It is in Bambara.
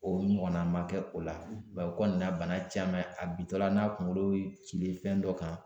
O ɲɔgɔnna ma kɛ o la mɛ o kɔni nana ni bana caman ye ,a bin tɔ la n'a kunkolo ye cili fɛn dɔ kan